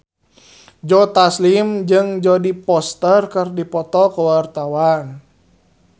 Joe Taslim jeung Jodie Foster keur dipoto ku wartawan